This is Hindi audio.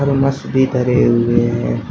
थर्मस भी धरे हुए है।